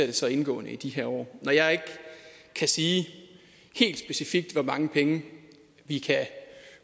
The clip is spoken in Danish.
det så indgående i de her år når jeg ikke kan sige helt specifikt hvor mange penge vi kan